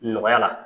Nɔgɔya la